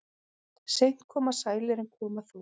Seint koma sælir en koma þó.